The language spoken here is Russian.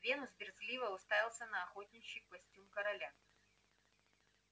венус брезгливо уставился на охотничий костюм короля